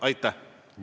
Aitäh!